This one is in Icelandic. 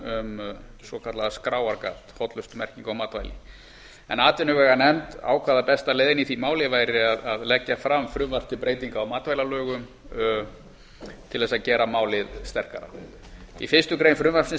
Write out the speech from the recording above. um svokallað skráargat hollustumerkingum á matvæli atvinnumálanefnd ákvað að besta leiðin í því máli væri að leggja fram frumvarp um breytingu á matvælalögum til þess að gera málið sterkara í fyrstu grein frumvarpsins